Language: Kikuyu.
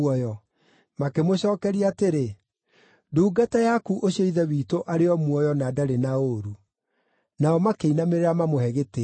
Makĩmũcookeria atĩrĩ, “Ndungata yaku ũcio ithe witũ arĩ o muoyo na ndarĩ na ũũru.” Nao makĩinamĩrĩra mamũhe gĩtĩĩo.